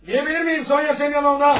Gələ bilərəmmi, Sonya Semyonovna?